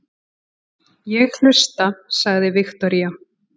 Ég hlusta, sagði Viktoría.